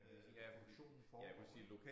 Øh hvor produktionen foregår ik